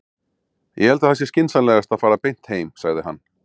Ég held að það sé skynsamlegast að fara beint heim, sagði hann.